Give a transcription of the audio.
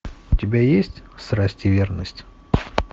у тебя есть страсть и верность